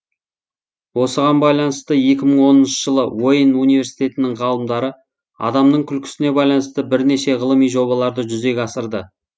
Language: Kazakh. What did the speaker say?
осыған байланысты екі мың оныншы жылы уэйн университетінің ғалымдары адамның күлкісіне байланысты бірнеше ғылыми жобаларды жүзеге асырды